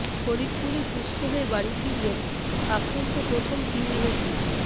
ফরিদপুরে সুস্থ হয়ে বাড়ি ফিরলেন আক্রান্ত প্রথম তিন রোগী